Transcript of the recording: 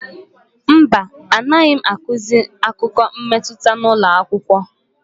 Mba, anaghị akụzi akụkọ mmetụta n'ụlọakwụkwọ.